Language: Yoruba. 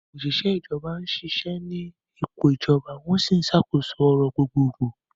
Àwọn òṣìṣẹ́ ìjọba ń ṣiṣẹ́ ní ipò ìjọba, wọ́n sì ń ṣàkóso ọ̀rọ̀ gbogbogbò.